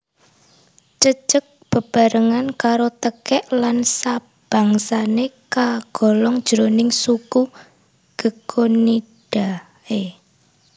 Cecek bebarengan karo tekèk lan sabangsané kagolong jroning suku Gekkonidae